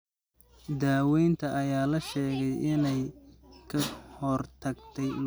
Daawaynta ayaa la sheegay in ay ka hortagtay luminta aragga ee bukaanka.